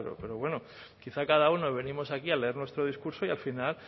pero bueno quizá cada uno venimos aquí a leer nuestro discurso y al final